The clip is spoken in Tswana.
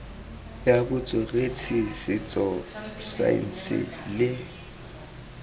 ya botsweretshi setso saense le